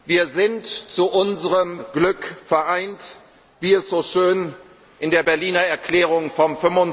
gefeiert. Wir sind zu unserem Glück vereint, wie es so schön in der Berliner Erklärung